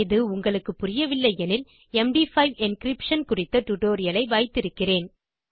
இது உங்களுக்கு புரியவில்லை எனில் எம்டி5 என்கிரிப்ஷன் குறித்த டியூட்டோரியல் வைத்து இருக்கிறேன்